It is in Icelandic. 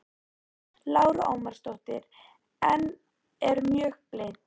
Lára Ómarsdóttir: En er mjög blint?